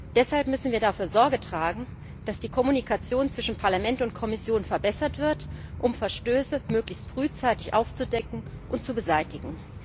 Deshalb müssen wir dafür Sorge tragen, dass die Kommunikation zwischen Parlament und Kommission verbessert wird, um Verstöße möglichst frühzeitig aufzudecken und zu beseitigen.